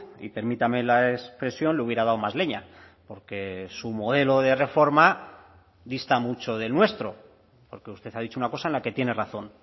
y permítame la expresión le hubiera dado más leña porque su modelo de reforma dista mucho del nuestro porque usted ha dicho una cosa en la que tiene razón